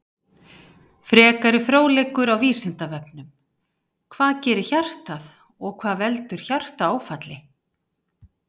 Frekari fróðleikur á Vísindavefnum: Hvað gerir hjartað og hvað veldur hjartaáfalli?